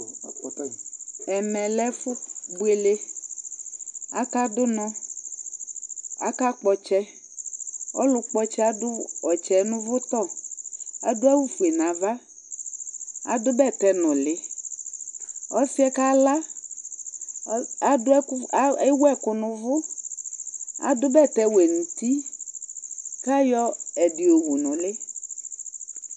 ɛmɛ lɛ ɛfu buele , aka dunɔ, aka kpɔtsɛ, ɔlu kpɔtsɛ adu ɔtsɛ nuvutɔ, adu awu fue nu ava, adu bɛtɛ nuli , ɔsiɛ kala adu ɛku, ewu ɛku nuvu adu bɛtɛ wɛ nuti, kayɔ ɛdi yowu nuli